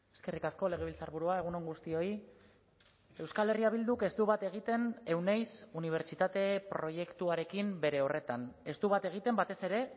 eskerrik asko legebiltzarburua egun on guztioi euskal herria bilduk ez du bat egiten euneiz unibertsitate proiektuarekin bere horretan ez du bat egiten batez ere